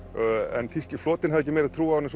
en þýski flotinn hafði ekki meiri trú á henni